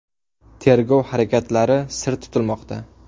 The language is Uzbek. Tergov harakatlari sir tutilmoqda.